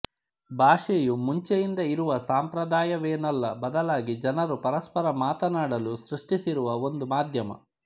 ಭಾಷೆಯು ಮುಂಚೆಯಿಂದ ಇರುವ ಸಂಪ್ರದಾಯವೇನಲ್ಲ ಬದಲಾಗಿ ಜನರು ಪರಸ್ಪರ ಮಾತಾನಾಡಲು ಸ್ರುಷ್ಟಿಸಿರುವ ಒಂದು ಮಾಧ್ಯಮ